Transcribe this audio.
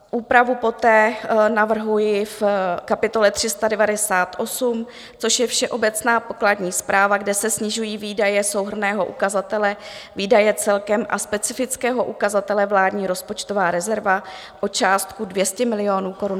Úpravu poté navrhuji v kapitole 398, což je všeobecná pokladní správa, kde se snižují výdaje souhrnného ukazatele výdaje celkem a specifického ukazatele vládní rozpočtová rezerva o částku 200 milionů korun.